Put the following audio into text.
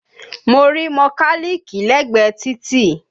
Mo rí mọkálíìkì l'ẹ́gbẹ̀ẹ́ títì